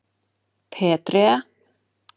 Petrea